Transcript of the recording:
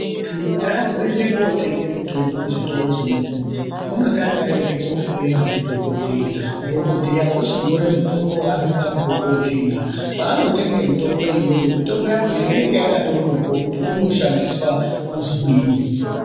Muntu kuti azoende kotenge mitombo ku zvitoro zve mutombo uno tanga ayende ko hloyiwa ndi dhokodheya dhokodheya ochi nyore mutombo waanofanirwe kotenga paano tenge mitombo iyoyo mitombo yakona inenge yakato nyorwa kuti inoshandiswa kuzwinyi.